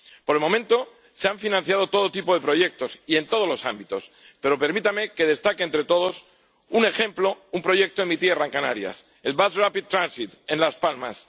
Por el momento, se han financiado todo tipo de proyectos y en todos los ámbitos, pero permítanme que destaque de entre todos un ejemplo, un proyecto en mi tierra, en Canarias el Bus Rapid Transit en Las Palmas.